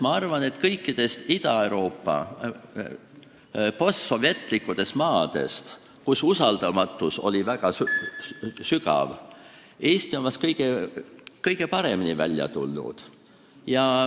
Ma arvan, et kui vaadata kõiki Ida-Euroopa postsovetlikke maid, kus usaldamatus oli väga sügav, siis on näha, et Eesti on vahest kõige paremini sellest olukorrast välja tulnud.